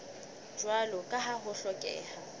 jwalo ka ha ho hlokeha